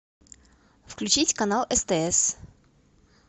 включить канал стс